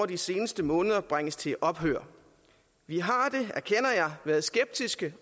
de seneste måneder har bringes til ophør vi har været skeptiske